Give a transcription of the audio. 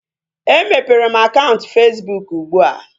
E mepere m akaụntụ Fesbụụk ugbua